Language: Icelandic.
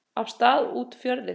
af stað út fjörðinn.